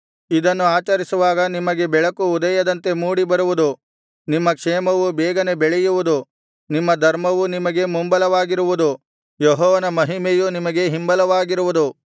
ಇದನ್ನು ಆಚರಿಸುವಾಗ ನಿಮಗೆ ಬೆಳಕು ಉದಯದಂತೆ ಮೂಡಿ ಬರುವುದು ನಿಮ್ಮ ಕ್ಷೇಮವು ಬೇಗನೆ ಬೆಳೆಯುವುದು ನಿಮ್ಮ ಧರ್ಮವು ನಿಮಗೆ ಮುಂಬಲವಾಗಿರುವುದು ಯೆಹೋವನ ಮಹಿಮೆಯು ನಿಮಗೆ ಹಿಂಬಲವಾಗಿರುವುದು